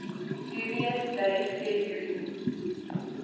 dubious date february